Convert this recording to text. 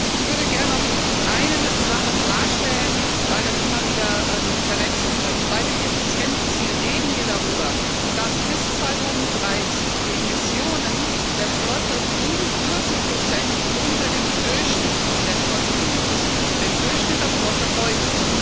Ich würde gern noch eine Sache klarstellen, weil das immer wieder verwechselt wird. Bei dem Effizienzziel reden wir darüber, dass bis 2030 die Emissionen der Flotte um 40 unter dem Durchschnitt der Flotte liegen müssen dem Durchschnitt der Flotte heute.